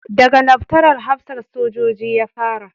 Da ga Laftanar hafsan soja ya fara